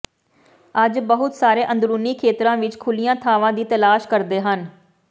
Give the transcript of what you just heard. ਅੱਜ ਬਹੁਤ ਸਾਰੇ ਅੰਦਰੂਨੀ ਖੇਤਰਾਂ ਵਿਚ ਖੁੱਲ੍ਹੀਆਂ ਥਾਵਾਂ ਦੀ ਤਲਾਸ਼ ਕਰਦੇ ਹਨ